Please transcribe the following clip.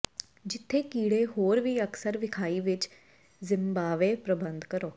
ਜਿੱਥੇ ਕੀੜੇ ਹੋਰ ਵੀ ਅਕਸਰ ਵਿਖਾਈ ਵਿਚ ਜ਼ਿਮਬਾਬਵੇ ਪ੍ਰਬੰਧ ਕਰੋ